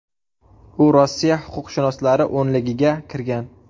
U Rossiya huquqshunoslari o‘nligiga kirgan.